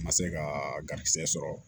Ma se ka garijigɛ sɔrɔ